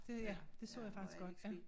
Det ja det så jeg faktisk godt ja